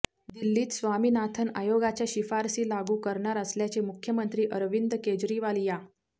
दिल्लीत स्वामीनाथन आयोगाच्या शिफारशी लागू करणार असल्याचे मुख्यमंत्री अरविंद केजरीवाल यां